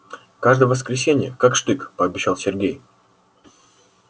каждое воскресенье как штык пообещал сергей